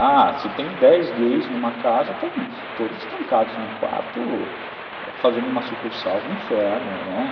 Ah, se tem dez gays numa casa, todos trancados no quarto, fazendo uma sucursal do inferno, né?